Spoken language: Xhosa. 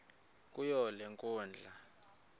kuyo le nkundla